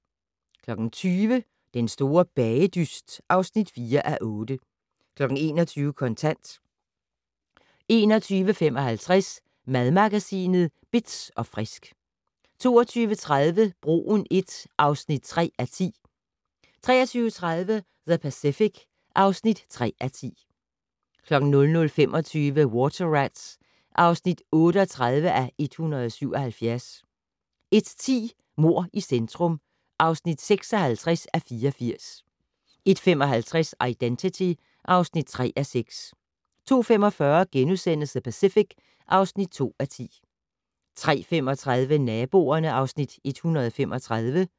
20:00: Den store bagedyst (4:8) 21:00: Kontant 21:55: Madmagasinet Bitz & Frisk 22:30: Broen I (3:10) 23:30: The Pacific (3:10) 00:25: Water Rats (38:177) 01:10: Mord i centrum (56:84) 01:55: Identity (3:6) 02:45: The Pacific (2:10)* 03:35: Naboerne (Afs. 135)